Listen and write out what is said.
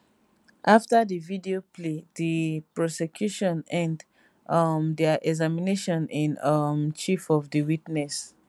afta di video play di prosecution end um dia examination in um chief of di witness